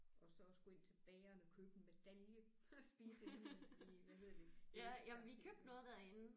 Og så også gå ind til bageren og købe en medalje og spise inde i i hvad hedder det i i i